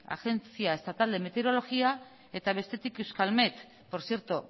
agencia estatal de meteorología eta bestetik euskalmet por cierto